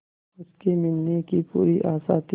उसके मिलने की पूरी आशा थी